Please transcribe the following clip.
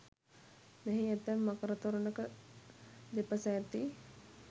මෙහි ඇතැම් මකර තොරණක දෙපස ඇති